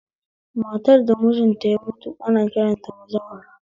Matar da mitin ta ya mutu ana kiranta da bazawara